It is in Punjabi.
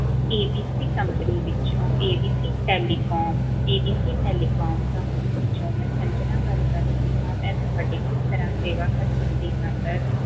ABCCompanyABCTelecomABCTelecomcompany ਵਿਚੋਂ ਮੈਂ ਸੰਜਨਾ ਗੱਲ ਰਹੀ ਆ ਮੈਂ ਤੁਹਾਡੀ ਕਿਸ ਤਰ੍ਹਾਂ ਸੇਵਾ ਕਰ ਸਕਦੀ ਆ sir